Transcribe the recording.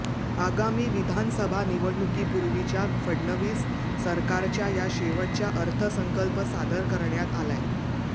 आगामी विधानसभा निवडणुकीपूर्वीच्या फडणवीस सरकारच्या या शेवटच्या अर्थसंकल्प सादर करण्यात आलाय